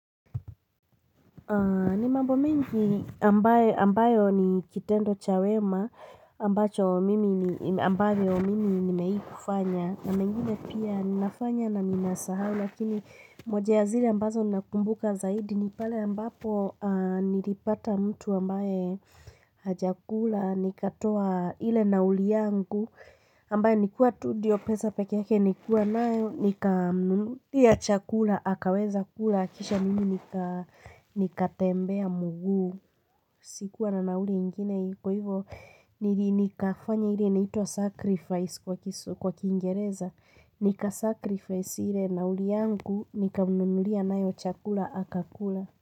Ni mambo mengi ambayo ni kitendo cha wema ambayo mimi nimewai kufanya na mengine pia ninafanya na ninasahau lakini moja ya zile ambazo nakumbuka zaidi ni pale ambapo nilipata mtu ambaye hajakula nikatoa ile nauli yangu ambaye nilikua tu ndio pesa pekee yake nilikua nayo nikamnunulia chakula akaweza kula kisha mimi nikatembea mguu, sikuwa na nauli ingine kwa hivyo nili nikafanya ile nitwa sacrifice kwa kiingereza, nika sacrifice ile nauli yangu nikamnunulia nayo chakula akakula.